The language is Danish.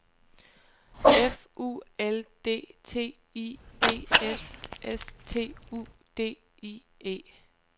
F U L D T I D S S T U D I E